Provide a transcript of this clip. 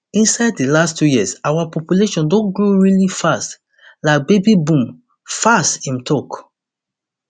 inside di last two years our population don grow really fast like baby boom fast im tok